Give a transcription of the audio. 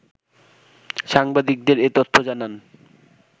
সাংবাদিকদের এ তথ্য জানান